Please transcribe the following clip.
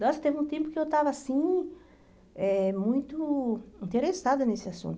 Nossa, teve um tempo que eu estava, assim, eh muito interessada nesse assunto.